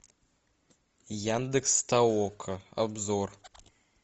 яндекс толока обзор